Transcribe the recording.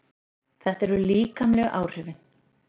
Þetta eru líkamlegu áhrifin.